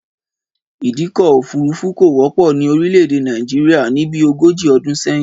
Ìdíkọ̀ òfúrufú kò wọ́pọ̀ ní orílè èdè Nàìjíríà ni bí ogójì ọdún sẹ́yìn